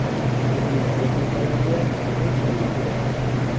Turli texnikalarga o‘t qo‘yildi.